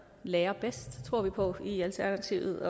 lærer det tror vi på i alternativet